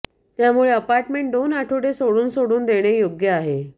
त्यामुळे अपार्टमेंट दोन आठवडे सोडून सोडून देणे योग्य आहे